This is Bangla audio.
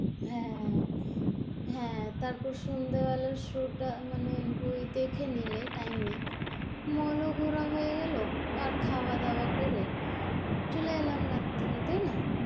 হ্যাঁ হ্যাঁ হ্যাঁ তারপর সন্ধ্যা বেলায় show টা মানে বই দেখে নিলে টাইম নেই mall ও ঘোরা হয়ে গেলো, আর খাওয়া দাওয়া করে চলে এলাম রাত্রে, তাই না,